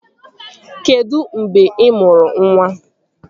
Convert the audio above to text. Kedụ mgbe ị mụrụ nwa?